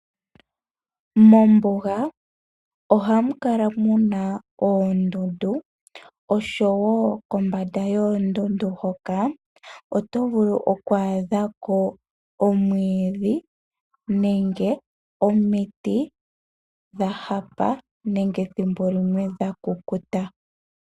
Mombuga ohamu kala muna oondundu oshowo kombanda yoondundu hoka oto vulu okwaadhako omiti dhahapa nenge dha kukuta.